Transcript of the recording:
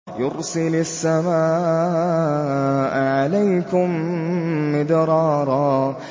يُرْسِلِ السَّمَاءَ عَلَيْكُم مِّدْرَارًا